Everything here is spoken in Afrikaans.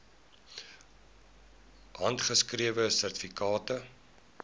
handgeskrewe sertifikate